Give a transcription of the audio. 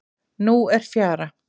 Nú er fjara.